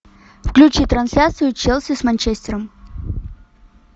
включи трансляцию челси с манчестером